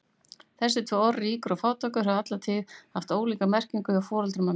Þessi tvö orð, ríkur og fátækur, höfðu alla tíð haft ólíka merkingu hjá foreldrum hennar.